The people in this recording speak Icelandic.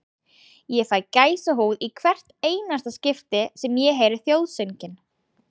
Ég fæ gæsahúð í hvert einasta skipti sem ég heyri þjóðsönginn.